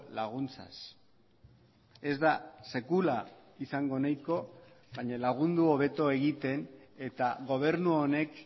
laguntzaz ez da sekula izango nahiko baina lagundu hobeto egiten eta gobernu honek